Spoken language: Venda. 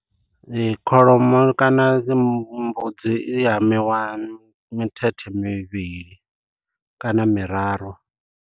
Ee kholomo kana mbudzi i hamiwa mithethe mivhili kana miraru.